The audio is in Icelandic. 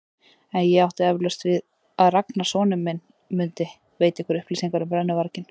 En ég átti eflaust við að Ragnar sonur minn mundi veita ykkur upplýsingar um brennuvarginn.